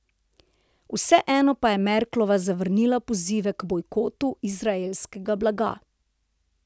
Vseeno pa je Merklova zavrnila pozive k bojkotu izraelskega blaga.